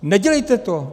Nedělejte to!